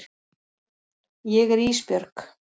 Ég er Ísbjörg.